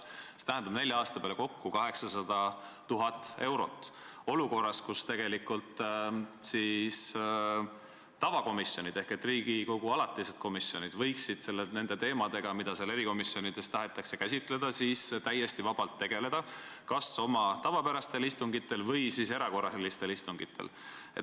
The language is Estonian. See tähendab nelja aasta peale kokku 800 000 eurot olukorras, kus tegelikult tavakomisjonid ehk Riigikogu alatised komisjonid võiksid nende teemadega, mida erikomisjonides tahetakse käsitleda, täiesti vabalt tegeleda kas oma tavapärastel istungitel või siis erakorralistel istungitel.